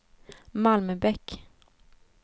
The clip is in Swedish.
Malmbäck